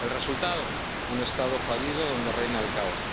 El resultado un Estado fallido donde reina el caos.